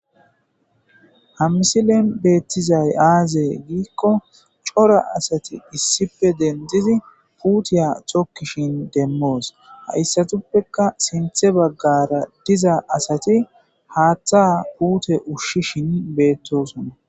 Ha misileni betizays aze giiko coora asati issipe denididi puteya tokishin demos haysapeka sinithe bagara diza adeti hatha pute ushishin be7etosona